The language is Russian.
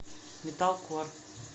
металкор